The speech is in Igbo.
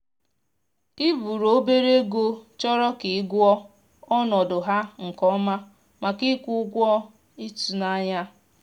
i buru obere ego chọrọ ka ị gụọ ọnọdụ ha nke ọma maka ịkwụ ụgwọ ịtụnanya